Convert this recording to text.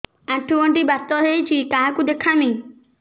ଆଣ୍ଠୁ ଗଣ୍ଠି ବାତ ହେଇଚି କାହାକୁ ଦେଖାମି